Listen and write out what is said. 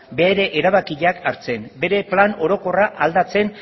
bere erabakiak hartzen bere plan orokorra aldatzen